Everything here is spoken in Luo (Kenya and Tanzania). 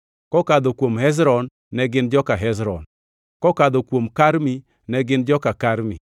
kokadho kuom Hezron, ne gin joka Hezron; kokadho kuom Karmi, ne gin joka Karmi.